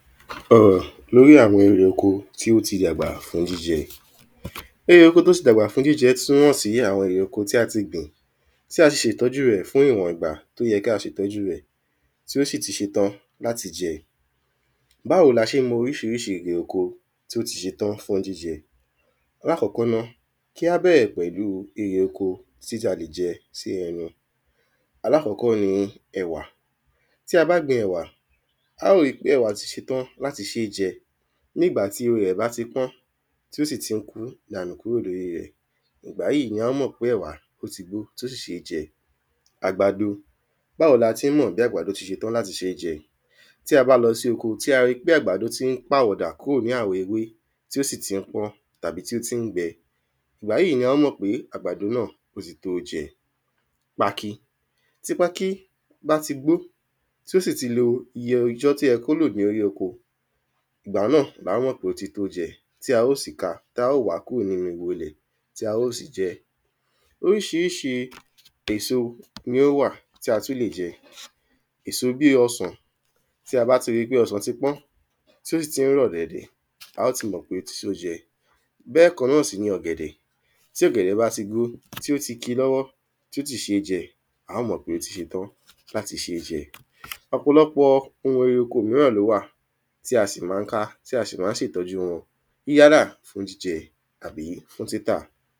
Àrùn l'órí àwọn erè oko t’ó ti dàgbà fún jíjẹ Erè oko t’ó ti dàgbà fún jíjẹ tí ó hàn sí àwọn ere oko tí a ti gbìn tí a sì ṣe ìtọ́jú rẹ̀ fún ìwọ̀n ìgbà t'ó yẹ kí a ṣe ìtọ́jú rẹ̀ tí ó sì ti ṣe tán l'áti jẹ́ Báwo l’a ṣé ń mọ oríṣiríṣi erè oko tí ó ti ṣe tán fún jíjẹ? L’ákọ́kọ́ na, kí á bẹ̀rẹ̀ pẹ̀lú erè oko tí a lè jẹ́ sí ẹnu L’ákọ́kọ́ ni ẹ̀wà. Tí a bá gbin ẹ̀wà, á ó ri pe ẹ̀wà ti ṣe tán l’áti ṣé jẹ Ní ìgbà tí ewé rẹ̀ bá ti pọ́n tí ó sì tí ń kù dànù kúrò l’órí rẹ̀ Ìgbà yí ni a mọ̀ pé ẹ̀wà ó ti gbó tí ó sì ṣé jẹ Àgbàdo Báwo ni a tí ń mọ pe àgbàdo ti ṣe tán l’áti ṣé jẹ Tí a bá lo sí oko tí a ri pé àgbàdo tí ń pàwọ̀dà kúrò ní àwọ̀ ewé tí ó sì tí ń kú tàbí tí ó tí ń gbẹ, Ìgbà yí ni a mọ̀ pé àgbàdo náà ó ti tó jẹ Pákí Tí pákí bá ti pọ́n, t’ó sì ti lo iye ọjọ́ t’ó yẹ kó lò l'órí oko Ìgbà náà la ó mọ̀ pé ó ti tó jẹ t’a ó sí ka ta ó wàá kúrò n'ínú ìho 'lẹ̀ tí a ó sì jẹ Oríṣiríṣi èso ni ó wà tí a tú lè jẹ Èso bí ọsàn Tí a bá ti ri pé ọsàn ti pọ́n, t’ó sì tí ń rọ̀ díẹ̀ díẹ̀, a ó ti mọ̀ pé ó ti ṣé jẹ. Bẹ́ẹ̀ kan náà sì ni ọ̀gẹ̀dẹ̀. Tí ọ̀gẹ̀dẹ̀ bá ti gbó, tí ó ti ki l’ọ́wọ́, tí ó ti ṣé jẹ, á mọ̀ pé ó tiṣe tán l’áti ṣé jẹ. Ọ̀pọ̀lọpọ̀ ohun erè oko míràn l’ó wà tí a sì ma ká tí a sì ma ṣe ìtọ́jú wọn yálà fún jíjẹ àbí fún títà.